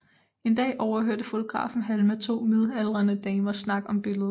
En dag overhørte fotografen Halma to midaldrende damers snak om billedet